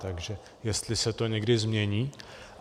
Takže jestli se to někdy změní.